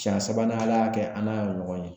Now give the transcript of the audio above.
Cɛɲɛ sabanan Ala y'a kɛ an n'a ye ɲɔgɔn ye